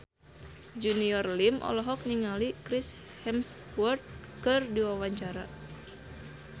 Junior Liem olohok ningali Chris Hemsworth keur diwawancara